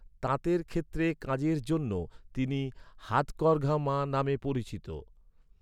তাঁতের ক্ষেত্রে কাজের জন্য, তিনি হাতকরঘা মা নামে পরিচিত।